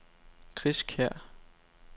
Chris Kjær